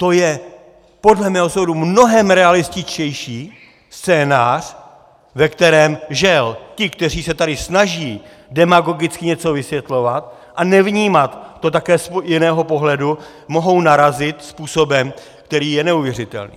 To je podle mého soudu mnohem realističtější scénář, ve kterém žel ti, kteří se tady snaží demagogicky něco vysvětlovat a nevnímat to také z jiného pohledu, mohou narazit způsobem, který je neuvěřitelný.